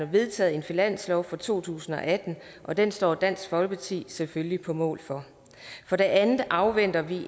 vedtaget en finanslov for to tusind og atten og den står dansk folkeparti selvfølgelig på mål for for det andet afventer vi